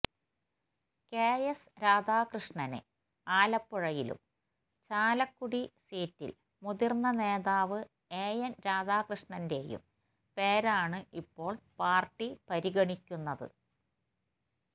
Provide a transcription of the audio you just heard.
KS രാധാകൃഷ്ണനെ ആലപ്പുഴയിലും ചാലക്കുടി സീറ്റില് മുതിര്ന്ന നേതാവ് എഎന് രാധാകൃഷ്ണന്റെയും പേരാണ് ഇപ്പോള് പാര്ട്ടി പരിഗണിക്കുന്നത്